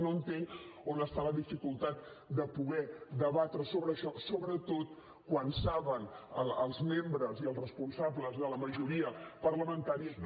no entenc on està la dificultat de poder debatre sobre això sobretot quan saben els membres i els responsables de la majoria parlamentària que